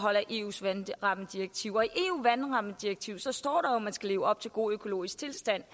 i eus vandrammedirektiv står der jo at man skal leve op til god økologisk tilstand